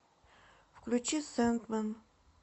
включи сэндмэн